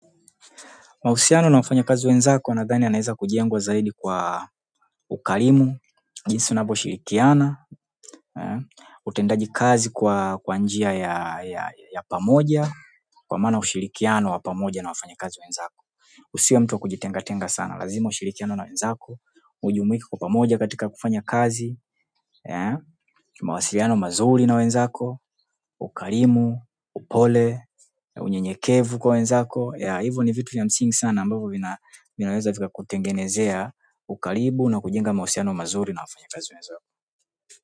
Mahusiano na wafanya kazi wenzako nadhani yanaeza kujengwa zaidi kwa ukarimu, jinsi unavyo shirikiana, utendaji kazi kwa kwa njia ya pamoja, kwa maana ushirikiano wa pamoja na wafanya kazi wenzako. Usiwe mtu wa kujitenga tenga sana, lazima ushirikiane na wenzako, ujumuike kwa pamoja katika kufanya kazi, mawasiliano mazuri na wenzako, ukarimu, upole, unye nyekevu kwa wenzako, ya hivyo ni vitu vya msingi sana ambavyo vina vinaweza vika kutengenezea, ukaribu na kujinga mawasiliano mazuri na wafanyakazi wenzako.